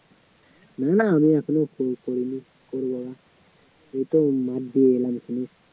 না আমি এখনও করি টরি নি মাঠ দিয়ে এলাম